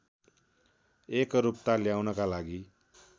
एकरूपता ल्याउनका लागि